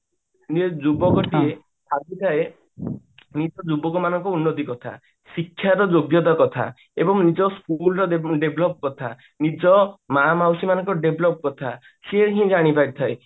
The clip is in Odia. ଯୋଉ ଆଜିଯାଏ ଯୁବକ ମାନଙ୍କ ଉନ୍ନତି କଥା ଶିକ୍ଷାର ଯୋଗ୍ୟତା କଥା ଏବଂ ନିଜ school ର develop କଥା ନିଜ ମା ମାଉସୀ ମାନଙ୍କ develop କଥା ସିଏ ହିଁ ଜାଣି ପାରି ଥାଏ